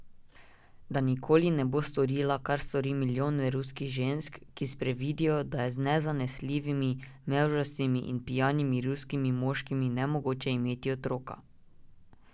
Da nikoli ne bo storila, kar stori milijone ruskih žensk, ki sprevidijo, da je z nezanesljivimi, mevžastimi in pijanimi ruskimi moškimi nemogoče imeti otroka.